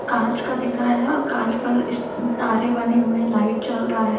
कांच का दिख रहा है और कांच पर इस अम तारे बने हुए है लाइट चल रहा है।